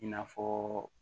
I n'a fɔ